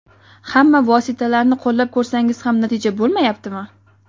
Hamma vositalarni qo‘llab ko‘rsangiz ham natija bo‘lmayaptimi?